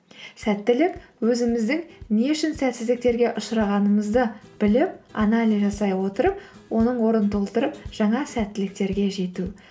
сәттілік өзіміздің не үшін сәтсіздіктерге ұшырағанымызды біліп анализ жасай отырып оның орнын толтырып жаңа сәттіліктерге жету